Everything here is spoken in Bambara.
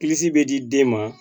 bɛ di den ma